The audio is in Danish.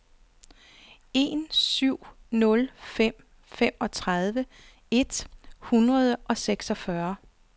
en syv nul fem femogtredive et hundrede og seksogfyrre